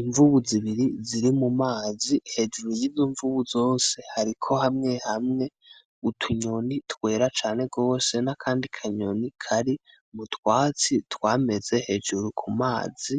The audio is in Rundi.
Imvubu zibiri ziri mumazi. Hejuru yizo mvubu zose hariko hamwe hamwe utunyoni twera cane rwose, n'akandi kanyoni kari mutwatsi twameze hejuru kumazi.